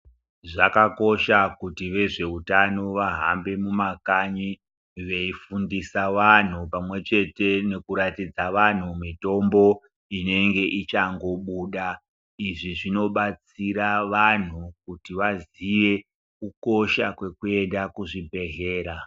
Zvakakosha kuti vezveutano vahambe mumakanyi veifundisa vantu pamwechete nekurakidza vantu mitombo inenge ichangobuda izvi zvinobatsira vanhu kuti vantu vaziye kukosha kwekuenda kuzvibhehlera.